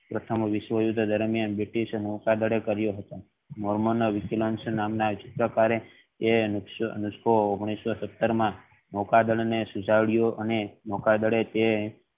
પ્રથમ વિશ્વ યુદ્ધ દરમિયાન british નૌકાદળે કરીયો હતો એ નસકો ઓગણીસો સત્તર માં નૌકાદળ ને અને નૌકાદળે તે